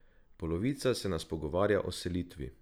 Polovica se nas pogovarja o selitvi.